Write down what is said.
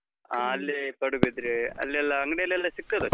ಆ ಅಲ್ಲಿ ಪಡುಬಿದ್ರೆ, ಅಲ್ಲೆಲ್ಲಾ ಅಂಗಡಿಯಲ್ಲೆಲ್ಲಾ ಸಿಕ್ತದದು.